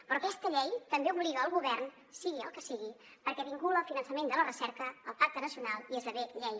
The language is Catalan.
però aquesta llei també obliga el govern sigui el que sigui perquè vincula el finançament de la recerca al pacte nacional i esdevé llei